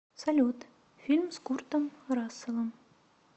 салют фильм с куртом расселом